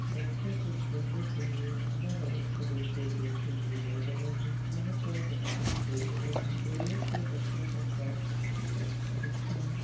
बच्चो के खेलने के लिए अलग-अलग तरीके के झूले बने है जहाँ पर बच्चे खेलते हैं खेलने से बच्चो का स्वास्थ्य अच्छा रहता है।